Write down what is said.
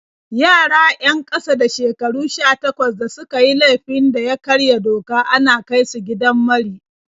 Yara 'yan ƙasa da shekaru 18 da suka yi laifin da ya karya doka ana kai su gidan mari.